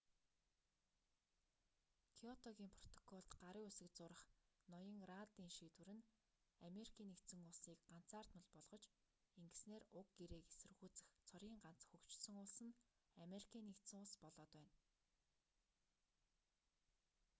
кёотогийн протоколд гарын үсэг зурах ноён раддын шийдвэр нь америкийн нэгдсэн улсыг ганцаардмал болгож ингэснээр уг гэрээг эсэргүүцэх цорын ганц хөгжсөн улс нь америкийн нэгдсэн улс болоод байна